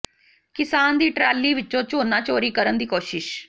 ਕਿਸਾਨ ਦੀ ਟਰਾਲੀ ਵਿੱਚੋਂ ਝੋਨਾ ਚੋਰੀ ਕਰਨ ਦੀ ਕੋਸ਼ਿਸ਼